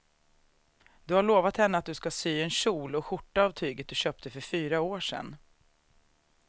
Du har lovat henne att du ska sy en kjol och skjorta av tyget du köpte för fyra år sedan.